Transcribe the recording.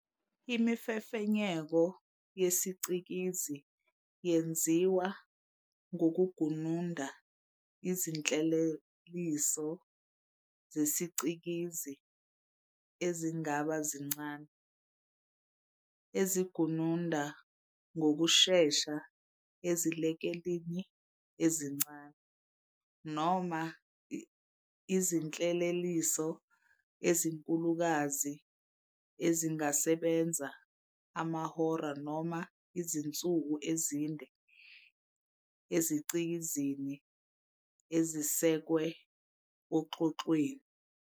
Imifefenyeko yesicikizi yenziwa ngokugununda izinhleleliso zesicikizi ezingaba zincane, ezigununda ngokushesha ezilekelelini ezincane, noma izinhleleliso ezinkulukazi ezingasebenza amahora noma izinsuku ezinde ezicikizini ezisekwe oxhoxhweni.